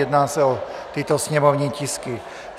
Jedná se o tyto sněmovní tisky: